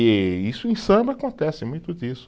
E isso em samba acontece muito disso.